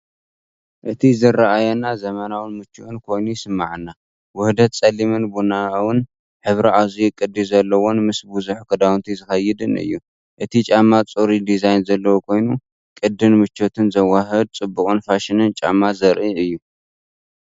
እቲ ዝረኣየኒ ዘመናውን ምቹእን ኮይኑ ይስምዓኒ። ውህደት ጸሊምን ቡናውን ሕብሪ ኣዝዩ ቅዲ ዘለዎን ምስ ብዙሕ ክዳውንቲ ዝኸይድን እዩ። እቲ ጫማ ፅሩይ ዲዛይን ዘለዎ ኮይኑ ፣ ቅዲን ምቾትን ዘወሃህድ ጽቡቕን ፋሽንን ጫማ ዘርኢ እዩ።